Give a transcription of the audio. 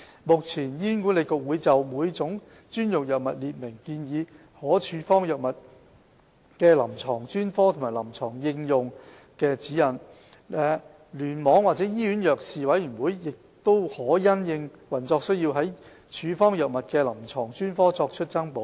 目前，醫管局會就每種專用藥物列明建議可處方藥物的臨床專科和臨床應用的指引，聯網或醫院藥事委員會可因應運作需要，就處方藥物的臨床專科作出增補。